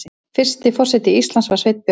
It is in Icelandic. Fyrsti forseti Íslands var Sveinn Björnsson.